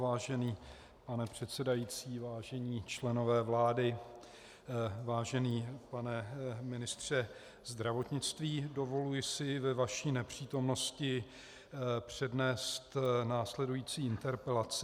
Vážený pane předsedající, vážení členové vlády, vážený pane ministře zdravotnictví, dovoluji si ve vaší nepřítomnosti přednést následující interpelaci.